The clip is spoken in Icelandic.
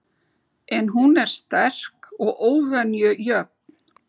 En hún er sterk og óvenju jöfn.